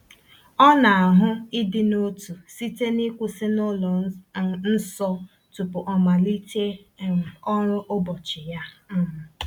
O na-ahụ ịdị n’otu site n’ịkwụsị n’ụlọ um nsọ tupu o malite um ọrụ ụbọchị ya. um